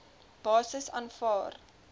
basis aanvaar